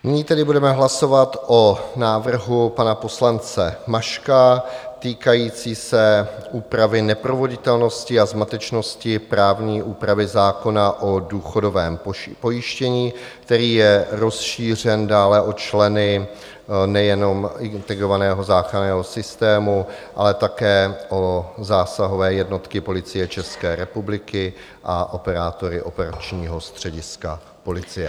Nyní tedy budeme hlasovat o návrhu pana poslance Maška týkajícím se úpravy neproveditelnosti a zmatečnosti právní úpravy zákona o důchodovém pojištění, který je rozšířen dále o členy nejenom integrovaného záchranného systému, ale také o zásahové jednotky Policie České republiky a operátory operačního střediska policie.